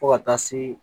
Fo ka taa se